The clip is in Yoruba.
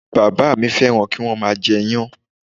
Bàbá à mí fẹ́ràn kí wọ́n má a jẹ iyán